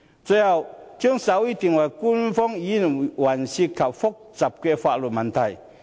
最後，將手語定為官方語言涉及複雜的法律問題。